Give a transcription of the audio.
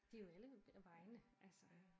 De jo alle vegne altså